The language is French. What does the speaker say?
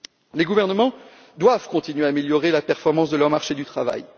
Les gouvernements doivent continuer à améliorer l'efficacité de leurs marchés du travail.